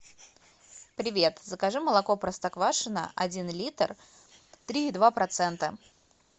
привет закажи молоко простоквашино один литр три и два процента